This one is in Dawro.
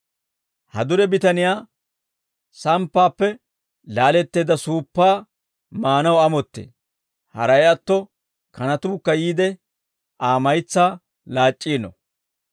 Ha dure bitaniyaa samppaappe laaletteedda suuppaa maanaw amottee; haray atto kanatuukka yiide Aa maytsaa laac'c'iino.